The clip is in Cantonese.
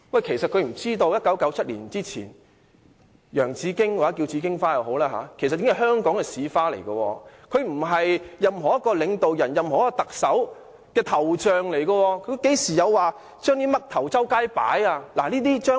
他是否不知道在1997年之前，洋紫荊或紫荊花已是香港的市花，它不是某位領導人或特首的頭像；香港何曾有把甚麼"嘜頭"滿街擺放？